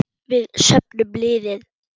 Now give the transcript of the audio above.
Við söfnum liði.